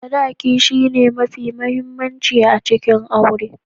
Sadaki shi ne mafi muhimmanci a cikin aure.